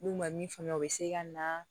N'u ma min faamuya o bɛ se ka na